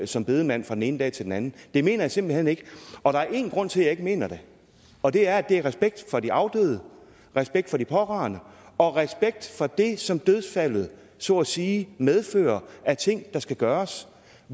som bedemand fra den ene dag til den anden det mener jeg simpelt hen ikke og der er én grund til at jeg ikke mener det og det er at det er respekt for de afdøde respekt for de pårørende og respekt for det som dødsfaldet så at sige medfører af ting der skal gøres